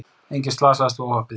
Enginn slasaðist við óhappið